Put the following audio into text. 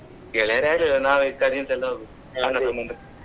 ಗೆಳೆಯರ್ ಯಾರ್ ಇಲ್ಲ ನಾವೇ cousins ಎಲ್ಲ ಹೋಗುದು .